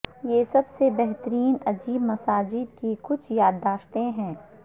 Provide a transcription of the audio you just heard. یہ سب سے بہترین عجیب مساجد کی کچھ یادداشتیں ہیں